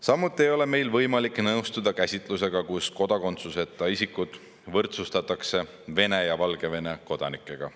Samuti ei ole meil võimalik nõustuda käsitlusega, mille järgi kodakondsuseta isikud võrdsustatakse Vene ja Valgevene kodanikega.